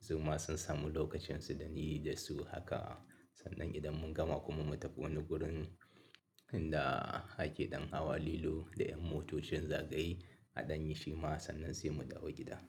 su ma sun samu lokacinsu da ni da su haka. Sannan idan mun gama kuma mu tafi wani wurin inda ake ɗan hawa lilo da ƴan motocin zagaye a ɗan yi shi ma sannan sai mu dawo gida.